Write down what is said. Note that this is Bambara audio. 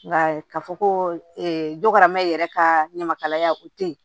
Nka k'a fɔ ko dɔkɔrɔma yɛrɛ kaa ɲamakalaya o tɛ ye